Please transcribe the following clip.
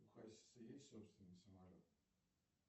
у хасиса есть собственный самолет